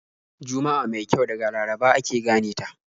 Juma'a mai kyau daga Laraba ake gane ta.